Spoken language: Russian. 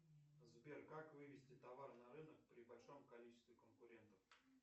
сбер как вывести товар на рынок при большом количестве конкурентов